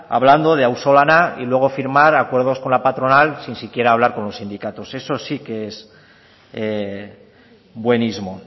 hablando de auzolana y luego firmar acuerdos con la patronal si siquiera hablar con los sindicatos eso sí que es buenismo